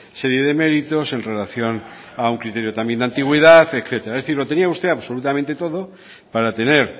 serie de méritos en relación a un criterio de antigüedad etcétera es decir lo tenía usted absolutamente todo para tener